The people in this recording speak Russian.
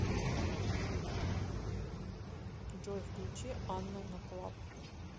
джой включи анна наклаб